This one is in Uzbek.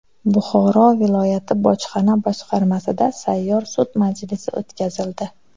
Buxoro viloyati bojxona boshqarmasida sayyor sud majlisi o‘tkazildi.